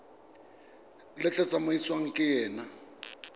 le tla tsamaisiwang ka yona